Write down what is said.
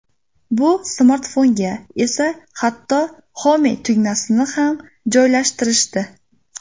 Bu smartfonga esa hatto Home tugmasini ham joylashtirishdi.